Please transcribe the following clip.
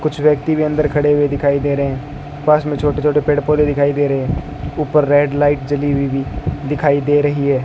कुछ व्यक्ति भी अंदर खड़े हुए दिखाई दे रहे हैं पास में छोटे छोटे पेड़ पौधे दिखाई दे रहे हैं ऊपर रेड लाइट जली हुई भी दिखाई दे रही है।